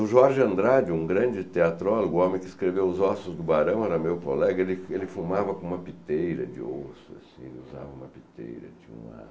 O Jorge Andrade, um grande teatrólogo, o homem que escreveu Os Ossos do Barão, era meu colega, ele ele fumava com uma piteira de osso, assim, usava uma piteira de um ar.